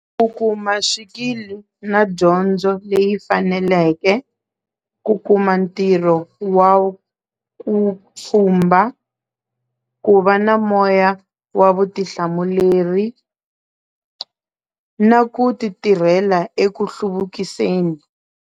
U kuma swikili na dyondzo leyi faneleke ku kuma ntirho wa wu pfhumba ku va na moya wa vutihlamuleri na ku titirhela eku hluvukiseni.